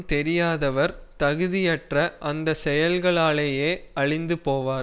தெரியாதவர் தகுதி அற்ற அந்த செயல்களாலேயே அழிந்து போவார்